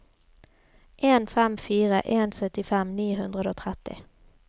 en fem fire en syttifem ni hundre og tretti